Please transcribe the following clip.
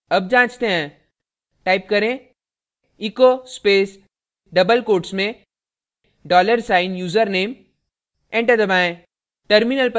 double जाँचते हैं type करें echo space double quotes में dollar साइन username enter दबाएं